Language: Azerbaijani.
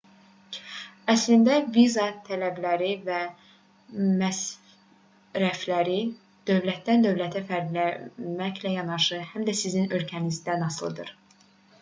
əslində viza tələbləri və məsrəfləri dövlətdən-dövlətə fərqlənməklə yanaşı həm də sizin ölkənizdən asılıdır